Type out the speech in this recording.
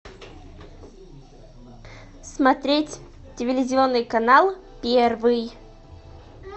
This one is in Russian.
смотреть телевизионный канал первый